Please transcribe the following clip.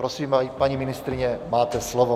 Prosím, paní ministryně, máte slovo.